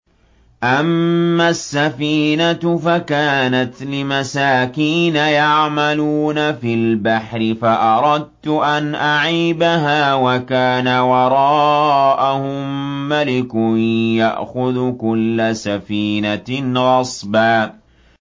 أَمَّا السَّفِينَةُ فَكَانَتْ لِمَسَاكِينَ يَعْمَلُونَ فِي الْبَحْرِ فَأَرَدتُّ أَنْ أَعِيبَهَا وَكَانَ وَرَاءَهُم مَّلِكٌ يَأْخُذُ كُلَّ سَفِينَةٍ غَصْبًا